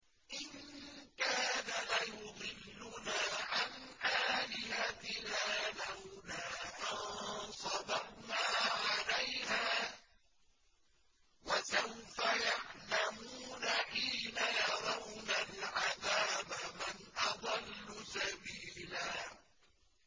إِن كَادَ لَيُضِلُّنَا عَنْ آلِهَتِنَا لَوْلَا أَن صَبَرْنَا عَلَيْهَا ۚ وَسَوْفَ يَعْلَمُونَ حِينَ يَرَوْنَ الْعَذَابَ مَنْ أَضَلُّ سَبِيلًا